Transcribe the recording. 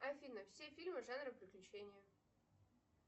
афина все фильмы жанра приключения